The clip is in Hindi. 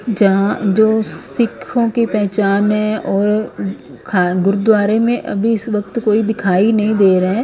जहां जो सिखों की पहचान है और ख गुरुद्वारे में अभी इस वक्त कोई दिखाई नहीं दे रहे है ।